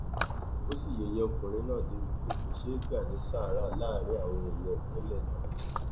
ó sì yẹyẹ ọkùnrin náà débìí pé kó ṣe é gbà ní sáárá láàrin àwọn èèyàn ìpínlẹ náà